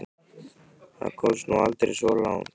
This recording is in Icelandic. Það komst nú aldrei svo langt.